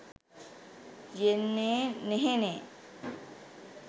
යෙන්නේ නෙහෙනේ.